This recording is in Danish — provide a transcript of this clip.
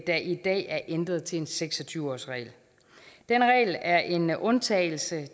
der i dag er ændret til en seks og tyve årsregel den regel er en undtagelse